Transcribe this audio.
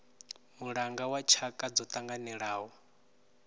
mulanga wa tshaka dzo tanganelanaho